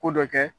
Ko dɔ kɛ